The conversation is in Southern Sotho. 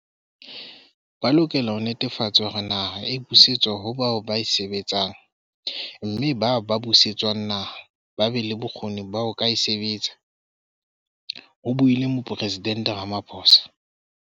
"Ba lokela ho netefatsa hore naha e busetswa ho bao ba e sebetsang mme bao ba buse tswang naha ba be le bokgoni ba ho ka e sebetsa," ho buile Moporesident Rama phosa.